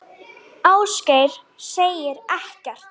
Ásgeir segir ekkert.